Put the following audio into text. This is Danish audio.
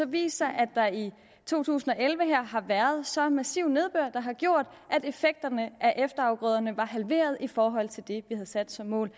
vist sig at der i to tusind og elleve har været så massiv nedbør har gjort at effekterne af efterafgrøderne var halveret i forhold til det vi havde sat som mål